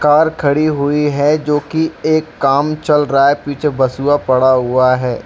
Car खड़ी हुई है जो कि एक काम चल रहा है पीछे बासुवा पड़ा हुआ है।